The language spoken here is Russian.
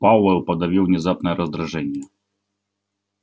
пауэлл подавил внезапное раздражение